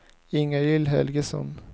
Ingalill Helgesson